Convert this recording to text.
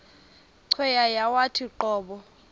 cweya yawathi qobo